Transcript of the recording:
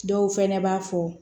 Dɔw fɛnɛ b'a fɔ